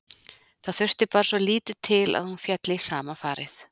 Það þurfti bara svo lítið til að hún félli í sama farið.